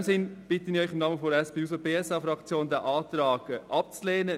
In diesem Sinne bitte ich Sie im Namen der SP-JUSO-PSAFraktion, diesen Antrag abzulehnen.